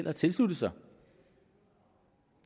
har tilsluttet sig